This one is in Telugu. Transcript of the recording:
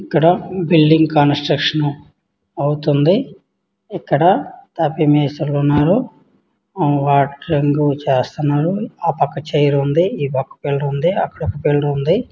ఇక్కడ బిల్డింగ్ కన్స్ట్రక్షన్ అవుతుంది. ఇక్కడ తాపీ మేస్త్రీలు ఉన్నారు . ఆ వర్కింగ్ చేస్తున్నారు. ఆ పక్క చైరుంద. ఈ పక్క పిల్లర్ ఉంది. ఆ పక్క పిల్లర్ ఉంది.